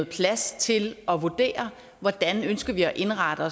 plads til at vurdere hvordan de ønsker at indrette